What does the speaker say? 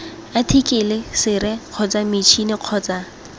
athikele sere kgotsa matšhini kgotsa